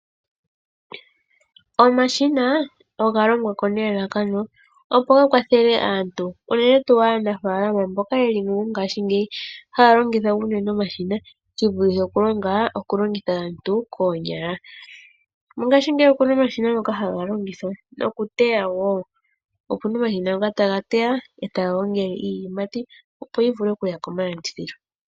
Omashina oga longwa nelalakano opo ga kwathele aantu ,unene tuu aanafaalama mboka mongaashingeyi haa longitha omashina shivulithe okulongitha aantu koonyala. Mongaashingeyi oku na omashina ngono haga longithwa noku teya woo, haga teya e taga gongele iiyimati opo yi vule oku ya komalandithilo. .